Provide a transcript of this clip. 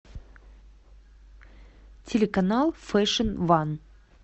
телеканал фэшн ван